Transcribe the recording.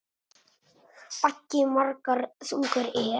Baggi margra þungur er.